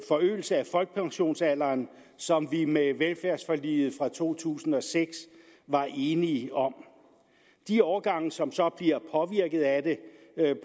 forøgelse af folkepensionsalderen som vi med velfærdsforliget fra to tusind og seks var enige om de årgange som så bliver